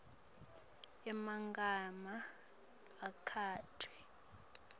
emagama akhetfwe